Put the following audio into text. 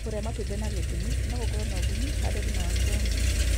Kũrĩa matumbĩ na gĩthimi no gũkorwo na kũguni harĩ afia yaku.